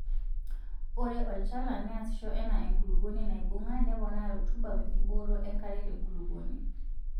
Ore olchala neasisho enaa enkulupuoni naibung'a neponaa rutuba wenkibooto enkare tenkulukuoni.